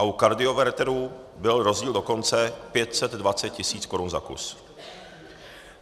A u kardioverteru byl rozdíl dokonce 520 tisíc korun za kus.